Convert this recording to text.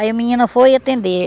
Aí a menina foi atender.